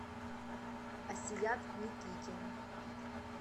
асият никитин